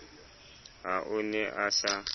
ha o ne a sa